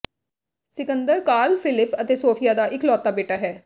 Sikandar Carl Philip ਅਤੇ Sofia ਦਾ ਇਕਲੌਤਾ ਬੇਟਾ ਹੈ